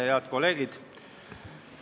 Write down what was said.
Head kolleegid!